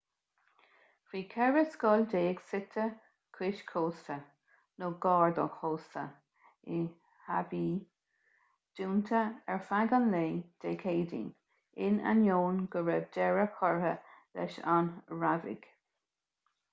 bhí ceithre scoil déag suite cois cósta nó gar don chósta i haváí dúnta ar feadh an lae dé céadaoin in ainneoin go raibh deireadh curtha leis na rabhaidh